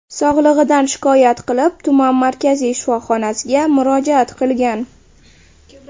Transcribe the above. sog‘lig‘idan shikoyat qilib, tuman markaziy shifoxonasiga murojaat qilgan.